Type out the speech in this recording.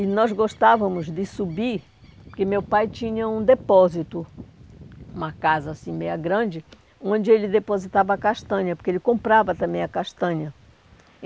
E nós gostávamos de subir, porque meu pai tinha um depósito, uma casa assim, meia grande, onde ele depositava castanha, porque ele comprava também a castanha.